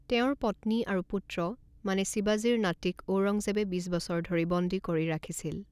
তেওঁৰ পত্নী আৰু পুত্ৰ মানে শিৱাজীৰ নাতিক ঔৰংজেবে বিছ বছৰ ধৰি বন্দী কৰি ৰাখিছিল।